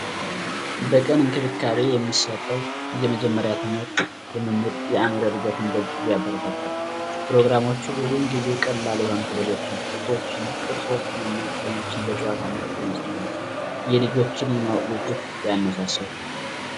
በእየቀኑ እንክብካቤ የሚሰጠው የመጀመሪያ ደረጃ ትምህርት የአዕምሮ እድገትን በእጅጉ ያበረታታል ፕሮግራሞች ብዙውን ጊዜ ቀላል የሆኑ ፊደሎቻችን ፣ቅርፆችን እና ቀለሞችን በጨዋታ በመሆኑ የልጆችን የማወቅ ጉጉት ያነሳሳል።